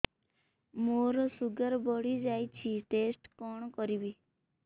ମୋର ଶୁଗାର ବଢିଯାଇଛି ଟେଷ୍ଟ କଣ କରିବି